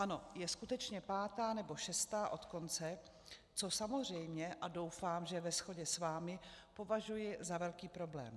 Ano, je skutečně pátá nebo šestá od konce, což samozřejmě - a doufám, že ve shodě s vámi - považuji za velký problém.